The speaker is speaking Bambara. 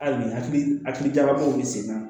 Hali ni hakili hakilijagabaaw bɛ sen na